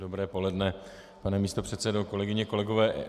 Dobré poledne, pane místopředsedo, kolegyně, kolegové.